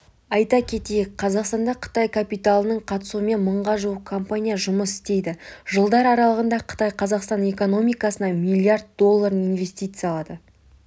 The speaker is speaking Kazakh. айта кетейік қазақстанда қытай капиталының қатысуымен мыңға жуық компания жұмыс істейді жылдар аралығында қытай қазақстан экономикасына млрд долларын инвестиялады